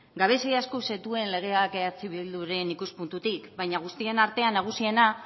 gabezia asko zituen legeak eh bilduren ikuspuntutik baina guztien artean nagusiena